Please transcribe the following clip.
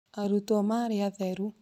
Arutwo marĩ atheru